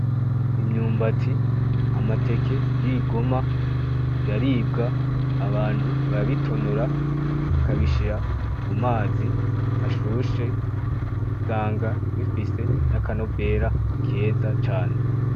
Imyumbati, amateke y’ibigoma biraribwa abantu barabitonora bakabishira mu mazi ashushe usanga bifise n’akanovera keza cane.